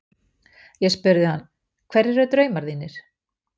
Ég spurði hann: Hverjir eru draumar þínir?